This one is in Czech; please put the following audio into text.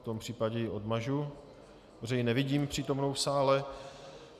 V tom případě ji odmažu, protože ji nevidím přítomnou v sále.